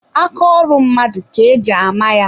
Aka ọrụ mmadụ ke eji ama ya.